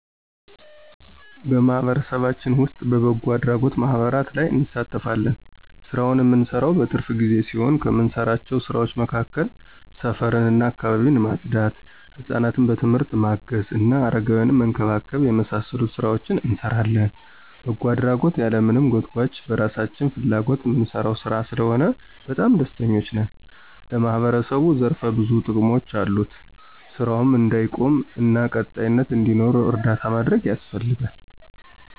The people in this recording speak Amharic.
በማህበረሰባችን ዉስጥ በበጎ አድራጎት ማህበራት ላይ እንሳተፋለን። ስራውን እምንሰራው በትርፍ ጊዜ ሲሆን ከምንሰራቸው ስራዎች መካከል ሰፈር እና አካባቢን ማፅዳት፣ ሕፃናትን በትምህርት ማገዝ እና አረጋውያንን መንከባከብ የመሳሰሉትን ሥራዎች እንሰራለን። በጎ አድራጎት ያለማንም ጎትጉአች በራሳችን ፍላጎት እምንሰራው ሥራ ስለሆነ በጣም ደስተኞች ነን። ለማህበረሰቡም ዘርፈ ብዙ ጥቅሞች አሉት። ስራውም እንዳይቆም እና ቀጣይነት እንዲኖረው እርዳታ ማድረግ ያስፈልጋል።